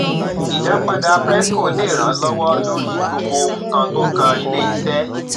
ìdápadà prescos lè ràn lówọ lórí gbogbo nnkan tó kan ilé iṣẹ